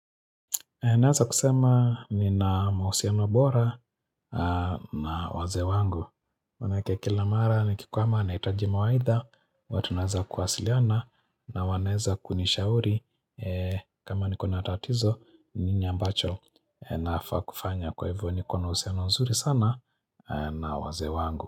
Naeza kusema nina mahusiano bora na waze wangu. Manake kila mara nikikwama naitaji mawaidha. Huwa tunaeza kuwasiliana na wanaeza kunishauri kama niko na tatizo nini ambacho nafaa kufanya kwa hivyo niko na uhusino nzuri sana na wazee wangu.